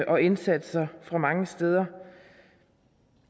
og indsatser mange steder